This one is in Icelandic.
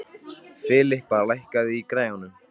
Filippa, lækkaðu í græjunum.